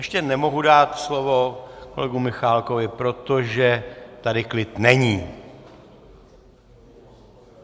Ještě nemohu dát slovo kolegovi Michálkovi, protože tady klid není...